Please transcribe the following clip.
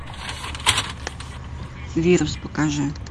вирус покажи